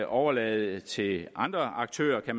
overlade det til andre aktører at